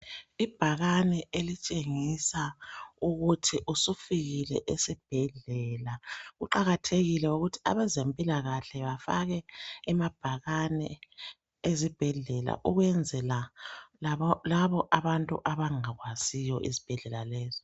Ibhakane elitshengisa ukuthi usufikile esibhedlela kuqakathekile ukuthi abezempilakahle bafake emabhakane ezibhedlela ukwenzela labo abantu abangakwaziyo esibhedlela lesi.